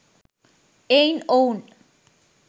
එයින් ඔවුන්